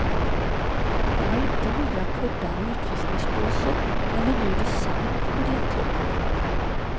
Det var inte nya kuddar i utvisningsbåset eller ny design på biljettluckorna.